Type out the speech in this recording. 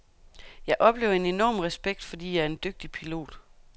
Jeg oplever en enorm respekt, fordi jeg er en dygtig pilot.